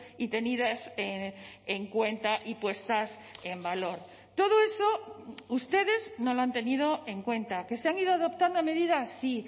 y tenidas en cuenta y puestas en valor todo eso ustedes no lo han tenido en cuenta que se han ido adoptando medidas sí